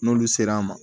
N'olu sera an ma